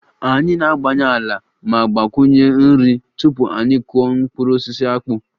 Anyị na-agbanye ala ma gbakwunye nri tupu anyị akụọ mkpụrụ osisi akpu